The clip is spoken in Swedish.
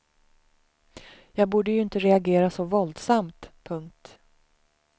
Jag borde ju inte reagera så våldsamt. punkt